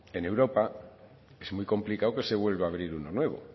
en europa es muy complicado que se vuelva a abrir uno nuevo